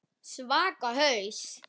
Svaka haus.